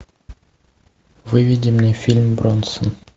выведи мне фильм бронсон